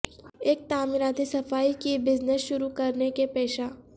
ایک تعمیراتی صفائی کی بزنس شروع کرنے کے پیشہ